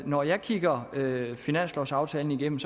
når jeg kigger finanslovaftalen igennem